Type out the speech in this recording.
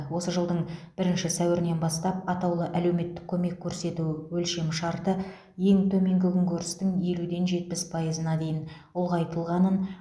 осы жылдың бірінші сәуірінен бастап атаулы әлеуметтік көмек көрсету өлшемшарты ең төменгі күнкөрістің елуден жетпіс пайызына дейін ұлғайтылғанын